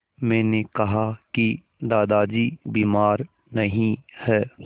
मैंने कहा कि दादाजी बीमार नहीं हैं